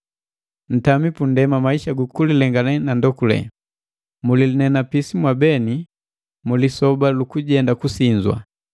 Ntami pundema maisa gu kulilengane na ga ndokule. Mulinenapisi mwabeti mu lisoba lukujenda kusinzwa.